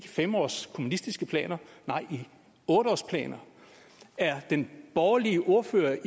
femårsplaner nej i otteårsplaner er den borgerlige ordfører